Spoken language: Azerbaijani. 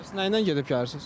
Bəs nə ilə gedib gəlirsiz?